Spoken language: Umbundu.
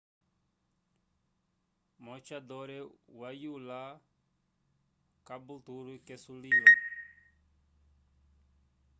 maoochydore wayula caboolture ke sulilo